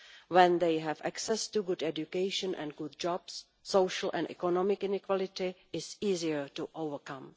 When they have access to good education and good jobs, social and economic inequality is easier to overcome.